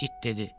İt dedi.